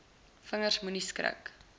vingers moenie skrik